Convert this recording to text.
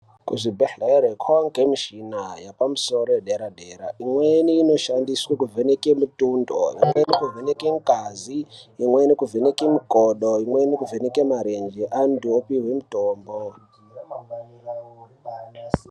Kuzvibhledhlera kwaane michina yepamusoro yedera dera. Imweni inoshandiswe kuvheneka mutundo, imweni kuvheneka ngazi, imweni kuvheneka mikodo. Imweni kuvheneke marenje antu opuhwe mutombo.